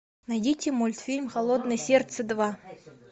найдите мультфильм холодное сердце два